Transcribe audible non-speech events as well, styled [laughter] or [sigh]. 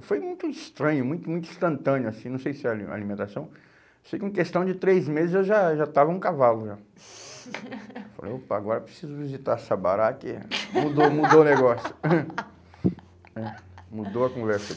foi muito estranho, muito, muito instantâneo assim, não sei se é ali alimentação. Sei que em questão de três meses eu já já estava um cavalo já. [laughs] Falei, opa, agora preciso visitar Sabará que mudou, mudou o negócio [coughs] né? Mudou a conversa aqui